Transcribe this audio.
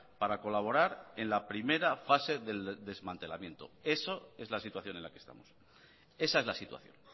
para colaborar en la primera fase del desmantelamiento eso es la situación en la que estamos esa es la situación